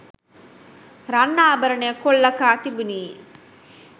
රන් ආභරණ කොල්ල කා තිබිණි.